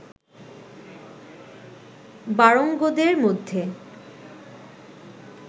বারোঙ্গোদের মধ্যে